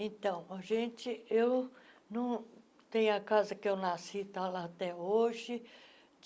Então, a gente, eu não tenho a casa que eu nasci está lá até hoje.